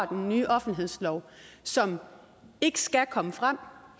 den nye offentlighedslov som ikke skal komme frem